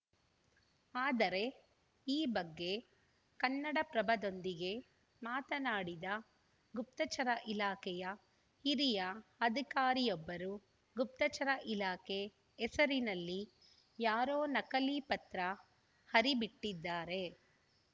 ಆದರೆ ಈ ಬಗ್ಗೆ ಕನ್ನಡಪ್ರಭದೊಂದಿಗೆ ಮಾತನಾಡಿದ ಗುಪ್ತಚರ ಇಲಾಖೆಯ ಹಿರಿಯ ಅಧಿಕಾರಿಯೊಬ್ಬರು ಗುಪ್ತಚರ ಇಲಾಖೆ ಹೆಸರಿನಲ್ಲಿ ಯಾರೋ ನಕಲಿ ಪತ್ರ ಹರಿಬಿಟ್ಟಿದ್ದಾರೆ